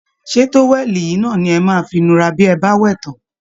Ṣé towel yìí náà ni ẹ máa fi nura bí ẹ bá wẹ̀ tán?